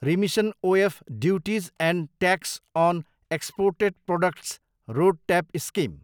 remission of duties and tax on exported products, RoDTEP, scheme